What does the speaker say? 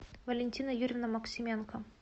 валентина юрьевна максименко